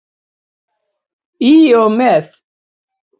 Í og með.